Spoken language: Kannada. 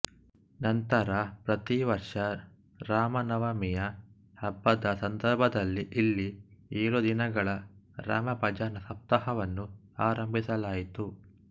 ನಂತರ ಪ್ರತಿವರ್ಷ ರಾಮ ನವಮಿಯ ಹಬ್ಬದ ಸಂದರ್ಭದಲ್ಲಿ ಇಲ್ಲಿ ಏಳು ದಿನಗಳ ರಾಮ ಭಜನಾ ಸಪ್ತಾಹವನ್ನು ಆರಂಭಿಸಲಾಯಿತು